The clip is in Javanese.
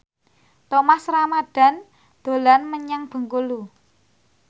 Thomas Ramdhan dolan menyang Bengkulu